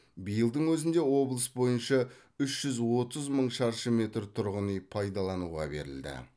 биылдың өзінде облыс бойынша үш жүз отыз мың шаршы метр тұрғын үй пайдалануға берілді